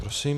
Prosím.